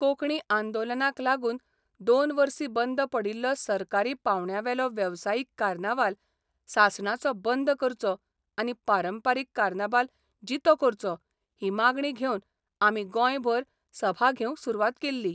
कोंकणी आंदोलनाक लागून दोन वर्सी बंद पडिल्लो सरकारी पावंड्यावेलो वेवसायीक कार्नावाल सासणाचो बंद करचो आनी पारंपारीक कार्नाबाल जितो करचो ही मागणी घेवन आमी गोंयभर सभा घेवंक सुरवात केल्ली.